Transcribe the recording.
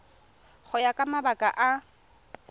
go ya ka mabaka a